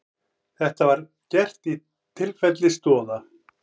Þetta var gert í tilfelli Stoða